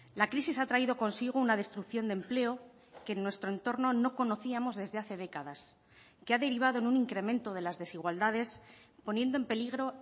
la crisis ha traído consigo una destrucción de empleo que en nuestro entorno no conocíamos desde hace décadas que ha derivado en un incremento de las desigualdades poniendo en peligro